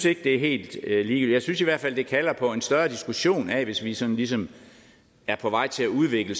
ikke er helt ligetil jeg synes i hvert fald at det kalder på en større diskussion af det hvis vi sådan ligesom er på vej til at udvikle